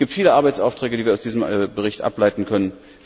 Es gibt viele Arbeitsaufträge, die wir aus diesem Bericht ableiten können.